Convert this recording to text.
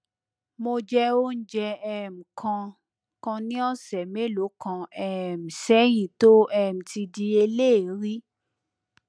mo jẹ oúnjẹ um kan kan ní ọsẹ mélòó kan um sẹyìn tó um ti di eléèérí